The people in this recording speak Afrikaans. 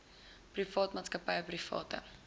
private maatskappye private